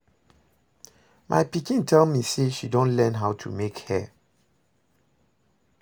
My pikin tell me say she don learn how to make hair